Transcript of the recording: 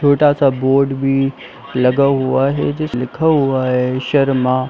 छोटा सा बोर्ड भी लगा हुआ है जिसमे लिखा हुआ है शर्मा।